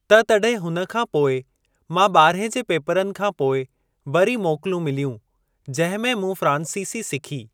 त तॾहिं हुन खां पोइ मां ॿारहें जे पेपरनि खां पोइ वरी मोकिलूं मिलियूं जंहिं में मूं फ़्रांसीसी सिखी।